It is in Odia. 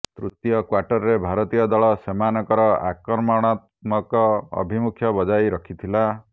ତୃତୀୟ କ୍ୱାର୍ଟରରେ ଭାରତୀୟ ଦଳ ସେମାନଙ୍କର ଆକ୍ରମଣାତ୍ମକ ଆଭିମୁଖ୍ୟ ବଜାୟ ରଖିଥିଲା